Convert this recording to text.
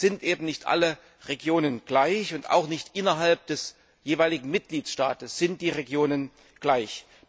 Es sind nicht alle Regionen gleich, und auch nicht innerhalb des jeweiligen Mitgliedstaates sind die Regionen gleich.